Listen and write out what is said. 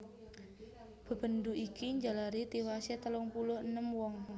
Bebendu iki njalari tiwasé telung puluh enem wong